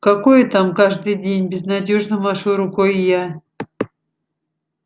какое там каждый день безнадёжно машу рукой я